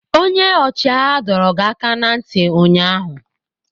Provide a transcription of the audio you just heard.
Onye ọchịagha dọrọ gị aka ná ntị ụnyaahụ!